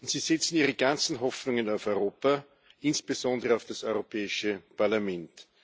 Sie setzen ihre ganzen Hoffnungen auf Europa, insbesondere auf das Europäische Parlament.